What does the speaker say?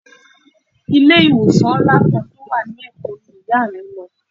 Ilé ìwòsàn ńlá kan tó wà lékòó ni Ìyá mi lọ.